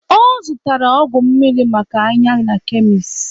Ọ zụtara ọgwụ mmiri maka anya na kemis.